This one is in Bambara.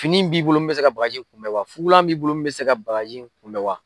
Fini in b'i bolo min bɛ se ka bagaji kunbɛ wa fugulan b'i bolo min bɛ se ka baraji in kunbɛ wa.